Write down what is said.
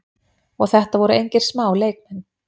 Og þetta voru engir smá leikmenn.